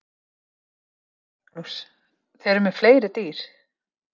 Magnús: Þið eruð með fleiri dýr?